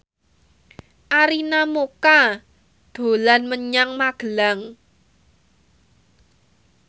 Arina Mocca dolan menyang Magelang